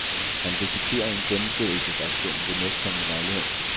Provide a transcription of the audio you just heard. Han risikerer en gengældelsesaktion ved næstkommende lejlighed.